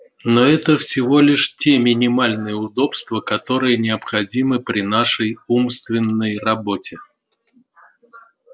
но это всего лишь те минимальные удобства которые необходимы при нашей умственной работе